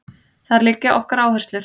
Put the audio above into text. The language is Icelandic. Þar liggja okkar áherslur